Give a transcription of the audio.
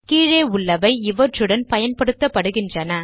கீழே உள்ளவை இவற்றுடன் பயன்படுத்தப்படுகின்றன